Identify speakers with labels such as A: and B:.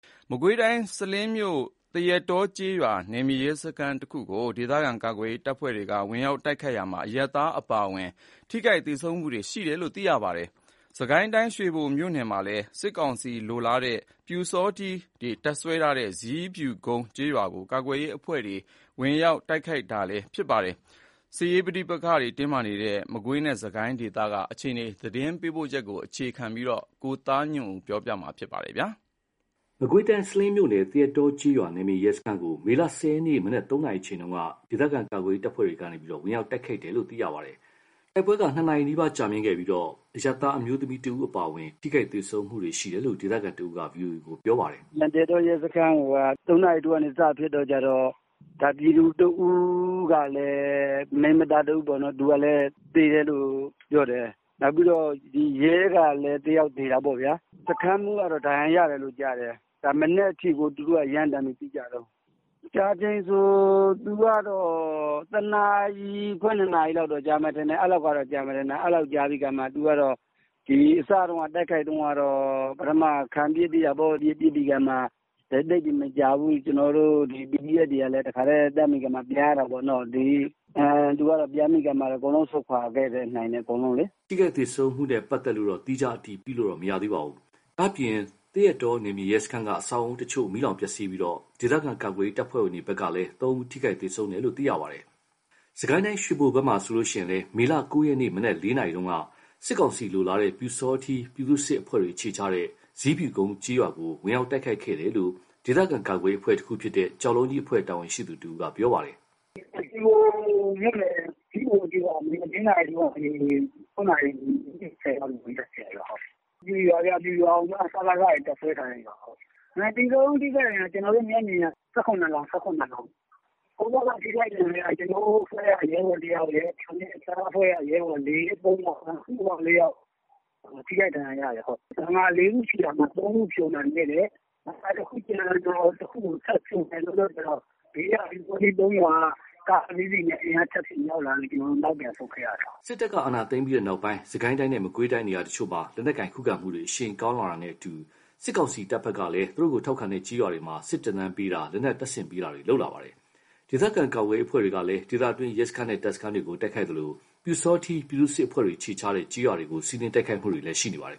A: မကွေးတိုင်း စလင်းမြို့ သရက်တောကျေးရွာ နယ်မြေရဲစခန်းကို ဒေသခံကာကွယ်ရေးတပ်ဖွဲ့ဝင်တွေက ဝင်ရောက်တိုက်ခိုက်ရာမှာ အရပ်သားအပါအဝင် ထိခိုက်သေဆုံးမှုတွေရှိတယ်လို့ သိရပါတယ်။ စစ်ကိုင်းတိုင်း ရွှေဘိုမြို့နယ်မှာလည်း စစ်ကောင်စီလိုလားတဲ့ ပျူစောထီးတပ်စွဲထားရာ ဇီးဖြူကုန်းကျေးရွာကို ကာကွယ်ရေးအဖွဲ့တွေ ဝင်ရောက်တိုက်ခိုက်ခဲ့ပါတယ်။ စစ်ရေးပဋိပက္ခတွေတင်းမာနေတဲ့ မကွေးတိုင်းနဲ့ စစ်ကိုင်းတွင်းအခြေအနေ သတင်းပေးပို့ချက်ကို ကိုသားညွန့်ဦးက တင်ပြပေးထားပါတယ်။
B: မကွေးတိုင်း စလင်းမြို့နယ် သရက်တောကျေးရွာ နယ်မြေရဲစခန်းကို မေ ၁၀ ရက် မနက် ၃ နာရီမှာ ဒေသခံကာကွယ်ရေးတပ်ဖွဲ့တွေက ဝင်ရောက်တိုက်ခိုက်ခဲ့တယ်လို့သိရပါတယ်။ တိုက်ပွဲက ၂ နာရီ နီးပါး ကြာမြင့်ခဲ့ပြီး အရပ်သားအမျိုးသမီးတဦးအပါအဝင် ထိခိုက်သေဆုံးမှုတွေရှိတယ်လို့ ဒေသခံတဦးက ဗွီအိုအေကို ပြောပါတယ်
C: ။ “သရက်တောရဲစခန်းကို ၃ နာရီထိုးကနေ စဖြစ်တော့ ပြည်သူတဦးကလည်း မိန်းမသားတဦးပေါ့နော်- သေတယ်လို့ ပြောတယ်။ နောက်ပြီးတော့ ရဲကလည်း တယောက်သေတာပေါ့ဗျာ။ စခန်းမှူးကလည်း ဒဏ်ရာရတယ်လို့ကြားတယ်။ မနက်အထိကို သူတို့က ရမ်းသမ်းပြီးပစ်ကြတုန်း။ ကြာချိန်က ၁ နာရီခွဲ ၂ နာရီလောက်ကြာမယ်ထင်တယ်။ အစတုန်းက တိုက်ခိုက်တုန်းက ပထမ ခံပစ်သေးတာပေါ့။ ပစ်ပြီးကာမှ သိပ်ပြီးမကြာဘူး။ ဒီ PDF တွေကလည်း တန်းပြီးတော့ ပြန်ရတာပေါ့။ သူတို့ကပြန်ပြီးကာမှ အကုန်ဆုတ်ခွါခဲ့နိုင်တယ်ပေါ့လေ။
B: ” ထိခိုက်သေဆုံးမှုနဲ့ပတ်သက်လို့တော့ သီးခြားအတည်ပြုလို့မရသေးပါဘူး။ ဒါ့ပြင် သရက်တော နယ်မြေရဲစခန်းက အဆောက်အဦးအချို့ မီးလောင်ပျက်စီးပြီး ဒေသခံကာကွယ်ရေးတပ်ဖွဲ့ဝင်တွေဘက်ကလည်း ထိခိုက်သေဆုံးသူ ၃ ဦးရှိတယ်လို့သိရပါတယ်။ စစ်ကိုင်းတိုင်းရွှေဘိုဘက်မှာလည်း မေလ ၉ ရက် မနက် ၄ နာရီက စစ်ကောင်စီလိုလားတဲ့ ပျူစောထီးပြည်သူ့စစ်အဖွဲ့တွေအခြေချတဲ့ ဇီးဖြူကုန်းကျေးရွာကို တိုက်ခိုက်ခဲ့တယ်လို့ ဒေသခံကာကွယ်ရေးအဖွဲ့တခုဖြစ်တဲ့ ကျောက်လုံးကြီးအဖွဲ့ တာဝန်ရှိသူတဦးက ပြောပါတယ်။ “ရ
D: ွှေဘိုမြို့နယ် ဇီးဖြူကုန်းကျေးရွာကို မနက် ၄ နာရီကနေ ၆ နာရီ မိနစ် ၂၀ လောက်အထိ ဝင်တိုက်ခဲ့တာခင်ဗျ။ ပျူရွာကိုမှ စကစ တွေတပ်စွဲထားတဲ့နေရာ။ သေဆုံးထိခိုက် ကျနော်တို့မျက်မြင်က ၁၇ လောင်း။ ကိုယ့်ဘက်က ထိခိုက်ဒဏ်ရာရတာက ကျနော်အဖွဲ့က ၁ ယောက်၊ အခြားအဖွဲ့က ၃ ယောက်၊ စုစုပေါင်း ၄ ယောက် ထိခိုက်ဒဏ်ရာရတယ်။ ဘန်ကာ ၄ ခုရှိတာ ၃ ခုဖြိုနိုင်ခဲ့တယ်။ ကျန်တဲ့ဘန်ကာတခုကို ဖြိုဖို့လုပ်တဲ့အချိန် ဘေးက ပျူစောထီး ၃ ရွာက အင်အားထပ်ဖြည့်ပြီး ကားနဲ့ရောက်လာလို့ ကျနော်တို့ ပြန်ဆုတ်ခဲ့ရတယ်။” စစ်တပ
B: ်က အာဏာသိမ်းပြီးနောက်ပိုင်း စစ်ကိုင်းတိုင်းနဲ့မကွေးတိုင်းနေရာတချို့မှာ လက်နက်ကိုင်ခုခံမှုတွေ အရှိန်ကောင်းလာတာနဲ့အတူ စစ်ကောင်စီတပ်ဘက်ကလည်း သူတို့ကို ထောက်ခံတဲ့ကျေးရွာတွေမှာ စစ်သင်တန်းပေးတာ၊ လက်နက်တပ်ဆင်ပေးတာတွေလုပ်လာပါတယ်။ ဒေသခံကာကွယ်ရေးအဖွဲ့တွေကလည်း ဒေသတွင်း ရဲစခန်းနဲ့တပ်စခန်းတွေကို တိုက်ခိုက်သလို ပျူစောထီးပြည်သူ့စစ်အဖွဲ့တွေအခြေချတဲ့ ကျေးရွာတွေကိုလည်း စီးနင်းတိုက်ခိုက်မှုတွေရှိနေပါတယ်